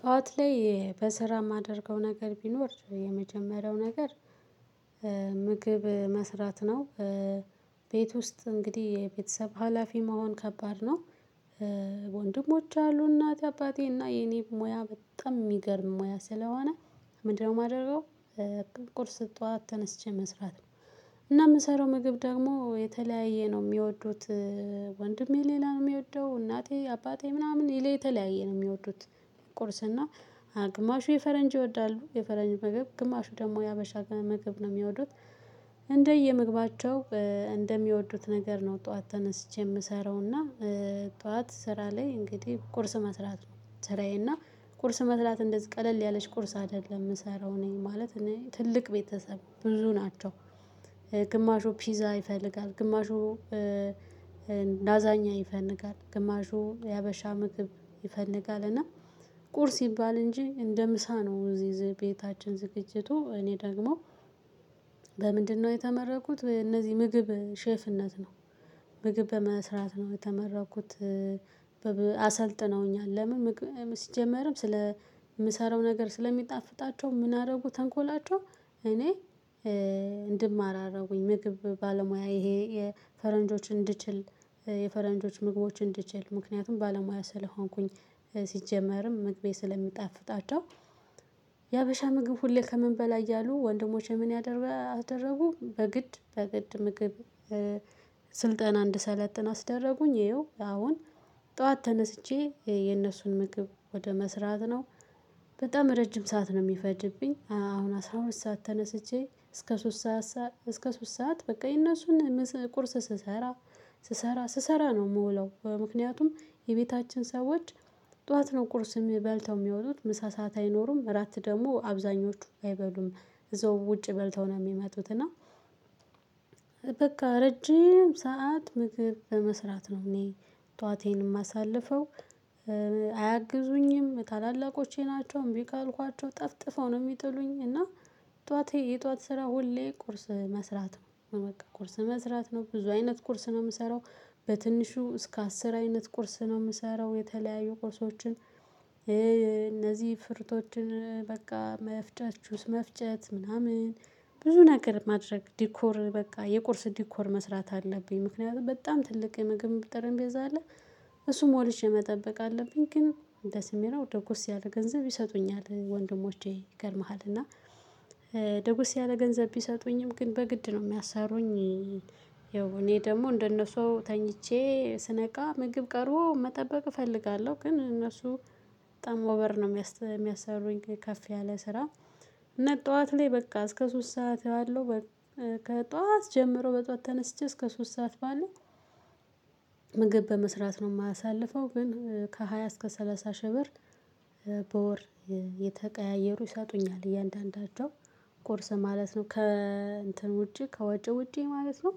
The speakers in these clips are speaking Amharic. ጧት ላይ በስራ የማደርገው ነገር ቢኖር የመጀመሪያው ነገር መስራት ነው። ቤት ውስጥ እንግዲህ የቤተሰብ ሀላፊ መሆን ከባድ ነው። ወንድሞች አሉ እናቴ አባቴ እና የኔ ሙያ በጣም የሚገርም ሙያ ስለሆነ ምንድነው የማደርገው? ቁርስ ጠዋት ተነስቼ መስራት ነው። እና የምሰራው ምግብ ደግሞ የተለያየ ነው የሚወዱት። ወንድሜ ሌላ ነው የሚወደው እናቴ አባቴ ምናምን ይላል የተለያየ ነው የሚወዱት። ቁርስ እና ግማሹ የፈረንጅ ይወዳሉ የፈረንጅ ምግብ ግማሹ ደግሞ የሀበሻ ምግብ ነው የሚወዱት። እንደየ ምግባቸው እንደሚወዱት ነገር ነው ጠዋት ተነስቼ የምሰራውና ጠዋት ስራ ላይ እንግዲህ ቁርስ መስራት ስራዬ እና ቁርስ መስራት እንደዚህ ቀለል ያለች ቁርስ አይደለም የምሰራው እኔ ማለት እኔ ትልቅ ቤተሰብ ብዙ ናቸው። ግማሹ ፒዛ ይፈልጋል ግማሹ ናዛኛ ይፈልጋል ግማሹ የሀበሻ ምግብ ይፈልጋል እና ቁርስ ይባል እንጂ እንደ ምሳ ነው እዚህ ቤታችን ዝግጅቱ እኔ ደግሞ በምንድነው የተመረኩት እነዚህ ምግብ ሼፍነት ነው። ምግብ በመስራት ነው የተመረኩት። አሰልጥነውኛል ለምን ሲጀመርም ስለ የምሰራው ነገር ስለሚጣፍጣቸው ምን አደረጉ ተንኮላቸው እኔ እንድማር አደረጉኝ ምግብ ባለሙያ ይሄ የፈረንጆችን እንድችል። የፈረንጆች ምግቦች እንድችል ምክንያቱም ባለሙያ ስለሆንኩኝ። ሲጀመርም ምግቤ ስለሚጣፍጣቸው። የሀበሻ ምግብ ሁሌ ከምን በላይ እያሉ ወንድሞች የምን ያደረጉ በግድ በግድ ምግብ ስልጠና እንድሰለጥን አስደረጉኝ ይኸው አሁን ጠዋት ተነስቼ የነሱን ምግብ ወደ መስራት ነው። በጣም ረጅም ሰዓት ነው የሚፈጅብኝ አሁን አስራ ሁለት ሰዓት ተነስቼ እስከ ሶስት ሰዓት እስከ ሶስት ሰዓት በቃ የነሱን ቁርስ ስሰራ። ስሰራ ስሰራ ነው የምውለው ምክንያቱም የቤታችን ሰዎች ጠዋት ነው ቁርስ የሚ በልተው የሚወጡት ምሳ ሰዓት አይኖሩም አራት ደግሞ አብዛኞቹ አይበሉም። እዛው ውጪ በልተው ነው የሚመጡት እና በቃ ረጅም ሰዓት ምግብ በመስራት ነው እኔ ጠዋቴን የማሳልፈው። አያግዙኝም ታላላቆቼ ናቸው እምቢ ካልኳቸው ጠፍጥፈው ነው የሚጥሉኝ እና ጠዋት የጠዋት ስራ ሁሌ ቁርስ መስራት ነው በቃ ቁርስ መስራት ነው ብዙ አይነት ቁርስ ነው የምሰራው። በትንሹ እስከ አስር አይነት ቁርስ ነው የምሰራው የተለያዩ ቁርሶችን ፍርቶችን በቃ መፍጨት ጁስ መፍጨት ምናምን ብዙ ነገር ማድረግ ዲኮር በቃ የቁርስ ዲኮር መስራት አለብኝ ምክንያቱም በጣም ትልቅ የምግብ ጠርንቤዛ አለ። እሱም ሞልቼ መጠበቅ አለብኝ ግን ደስየሚለው ደጎስ ያለ ገንዘብ ይሰጡኛል ወንድሞቼ ይገርምሃል እና ደጉስ ያለ ገንዘብ ቢሰጡኝም ግን በግድ ነው የሚያሰሩኝ። ያው እኔ ደግሞ እንደነሱ ተኝቼ ስነቃ ምግብ ቀርቦ መጠበቅ እፈልጋለሁ። ግን እነሱ በጣም ወበር ነው የሚያስሩኝ ከፍ ያለ ስራ። እና ጠዋት ላይ በቃ እስከ ሶስት ሰዓት ባለው ከጧት ጀምሮ በጧት ተነስቼ እስከ ሶስት ሰዓት ባለው ምግብ በመስራት ነው የማሳልፈው። ግን ከሃያ እስከ ሰላሳ ሺህ ብር በወር የተቀያየሩ ይሰጡኛል እያንዳንዳቸው ቁርስ ማለት ነው ከእንትን ውጪ ከወጭ ውጪ ማለት ነው።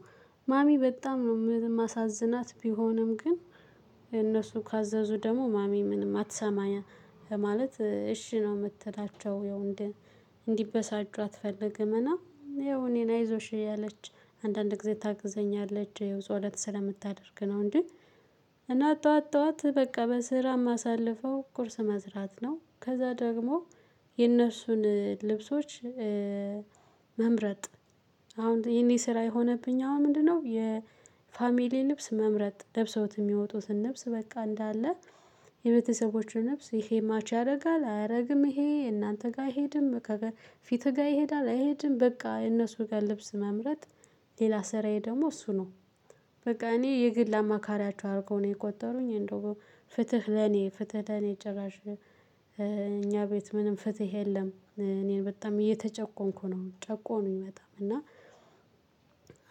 ማሚ በጣም ነው የማሳዝናት ቢሆንም ግን እነሱ ካዘዙ ደግሞ ማሚ ምንም አትሰማኝም ማለት እሺ ነው የምትላቸው። እንዲበሳጩ አትፈልግም እና እኔ ላይ አይዞሽ እያለች አንዳንድ ጊዜ ታግዘኛለች የው ፆለት ስለምታደርግ ነው እንጅ። እና ጠዋት ጠዋት በቃ በስራ የማሳልፈው ቁርስ መዝራት ነው ከዛ ደግሞ የእነሱን ልብሶች። መምረጥ አሁን የኔ ስራ የሆነብኝ አሁን ምንድነው? የፋሚሊ ልብስ መምረጥ ለብሰውት የሚወጡትን ልብስ በቃ እንዳለ የቤተሰቦችን ልብስ ይሄ ማች ያደርጋል አያደርግም ይሄ እናንተ ጋር አይሄድም። ፊት ጋር ይሄዳል አይሄድም በቃ እነሱ ጋር ልብስ መምረጥ ሌላ ስራዬ ደግሞ እሱ ነው። በቃ እኔ የግል አማካሪያቸው አድርገው ነው የቆጠሩኝ እንደው ፍትህ ለኔ ፍትህ ለኔ ጭራሽ እኛ ቤት ምንም ፍትህ የለም። እኔን በጣም እየተጨቆንኩ ነው ጨቆኑኝ በጣም እና።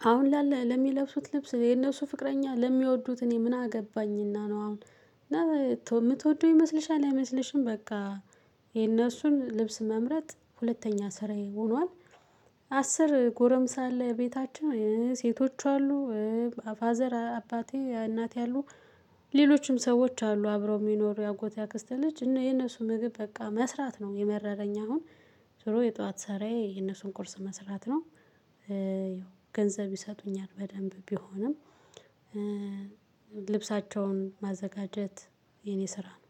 አሁን ላለ ለሚለብሱት ልብስ የነሱ ፍቅረኛ ለሚወዱት እኔ ምን አገባኝና? ነው አሁን የምትወደው ይመስልሻል አይመስልሽም በቃ። የነሱን ልብስ መምረጥ ሁለተኛ ስራዬ ሆኗል። አስር ጎረምሳ አለ ቤታችን ሴቶች አሉ። ፋዘር አባቴ እናቴ አሉ። ሌሎችም ሰዎች አሉ አብረው የሚኖሩ የአጎቴ አክስተ ልጅ እነ የነሱ ምግብ በቃ መስራት ነው የመረረኝ። አሁን ዙሮ የጧት ሰራዬ የነሱን ቁርስ መስራት ነው። ገንዘብ ይሰጡኛል በደንብ ቢሆንም። ልብሳቸውን ማዘጋጀት የኔ ስራ ነው።